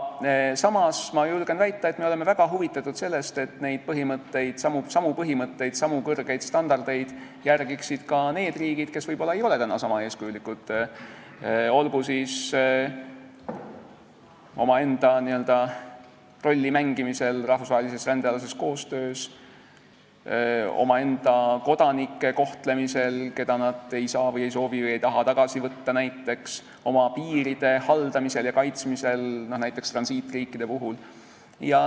Samas, ma julgen väita, me oleme väga huvitatud sellest, et neidsamu põhimõtteid, samu kõrgeid standardeid järgiksid ka need riigid, kes võib-olla ei ole täna niisama eeskujulikud olgu siis omaenda rolli mängimisel rahvusvahelises rändealases koostöös, omaenda kodanike kohtlemisel, keda nad ei saa või ei soovi või ei taha näiteks tagasi võtta, või oma piiride haldamisel ja kaitsmisel, seda näiteks transiitriikide puhul.